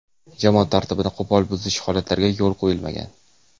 Jamoat tartibini qo‘pol buzish holatlariga yo‘l qo‘yilmagan.